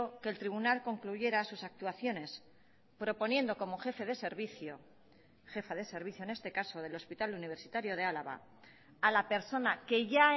que el tribunal concluyera sus actuaciones proponiendo como jefe de servicio jefa de servicio en este caso del hospital universitario de álava a la persona que ya